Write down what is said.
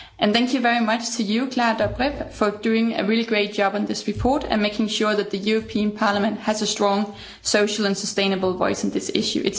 Thank you very much to you, Klára Dobrev, for doing a really great job on this report and making sure that the European Parliament has a strong social and sustainable voice on this issue.